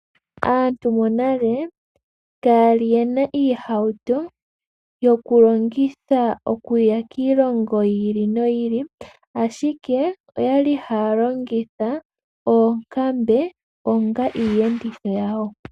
Aantu yonale kayali yena iihauto yoku longitha okuya kiilongo yi ili noyi ili ashike oyali haya longitha oonkambe onga iiyenditho yawo.